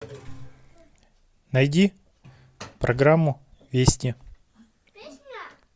найди программу вести